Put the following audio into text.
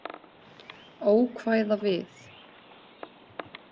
Ókvæða við